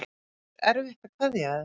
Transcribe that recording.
En er erfitt að kveðja þær?